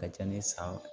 Ka ca ni san